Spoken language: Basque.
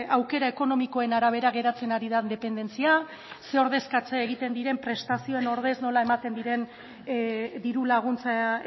aukera ekonomikoaren arabera geratzen ari den dependentzia zein ordezkatze egiten diren prestazioen ordez nola ematen diren diru laguntza